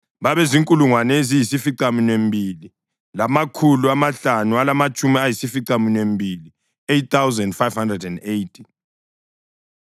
babezinkulungwane eziyisificaminwembili lamakhulu amahlanu alamatshumi ayisificaminwembili (8,580).